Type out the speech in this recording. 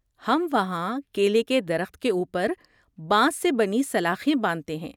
ہم وہاں کیلے کے درخت کے اوپر بانس سے بنی سلاخیں باندھتے ہیں۔